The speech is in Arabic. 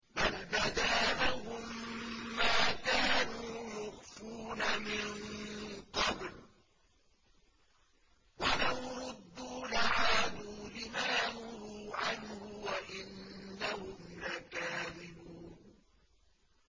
بَلْ بَدَا لَهُم مَّا كَانُوا يُخْفُونَ مِن قَبْلُ ۖ وَلَوْ رُدُّوا لَعَادُوا لِمَا نُهُوا عَنْهُ وَإِنَّهُمْ لَكَاذِبُونَ